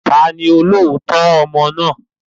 Ta ni olóòótọ́ ọmọ náà?